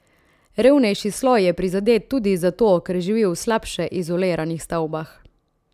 Revnejši sloj je prizadet tudi zato, ker živi v slabše izoliranih stavbah.